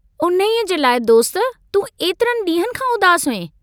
उन्हीअ जे लाइ दोस्त, तूं एतिरनि डींहंनि खां उदास हुएं।